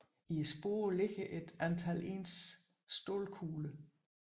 I sporet ligger et antal ens stålkugler